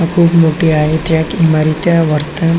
खूप मोठी आहे त्या इमारत्या वर्तन--